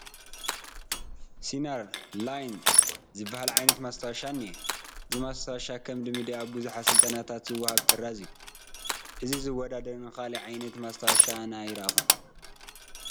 ሲናር ላይን ዝበሃል ዓይነት ማስታወሻ እኒሀ፡፡ እዚ ማስታወሻ ከም ልምዲ ኣብ ብዙሕ ስልጠናታት ዝወሃብ ጥራዝ እዩ፡፡ ነዚ ዝወዳደር ካልእ ዓይነት ማስታወሻ ኣነ ኣይረአኹን፡፡